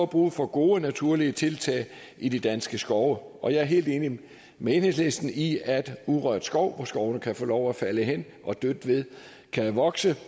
brug for gode og naturlige tiltag i de danske skove og jeg er helt enig med enhedslisten i at urørt skov hvor skovene kan få lov at falde hen og dødt ved kan vokse